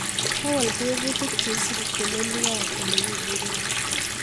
kowol tebutik cheisubi telelik ab olekiburen